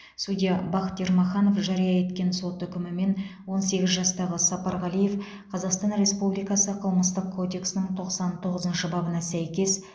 судья бақыт ермаханов жария еткен сот үкімімен он сегіз жастағы сапарғалиев қазақстан республикасы қылмыстық кодексінің тоқсан тоғызыншы бабына сәйкес